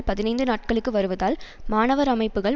பதினைந்து நாட்களுக்கு வருவதால் மாணவர் அமைப்புக்கள்